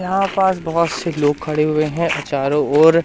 यहां पास बोहोत से लोग खड़े हुए है चारों ओर--